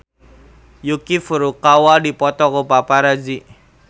Yuki Furukawa dipoto ku paparazi